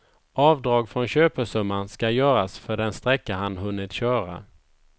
Avdrag från köpesumman ska göras för den sträcka han hunnit köra.